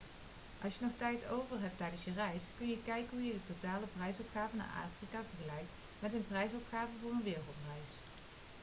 als je nog tijd over hebt tijdens je reis kun je kijken hoe je totale prijsopgave naar afrika vergelijkt met een prijsopgave voor een wereldreis